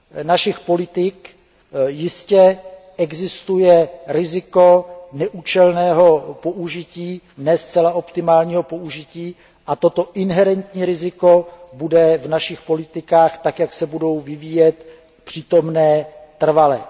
řadě našich politik jistě existuje riziko neúčelného nebo ne zcela optimálního použití a toto inherentní riziko bude v našich politikách tak, jak se budou vyvíjet, přítomno trvale.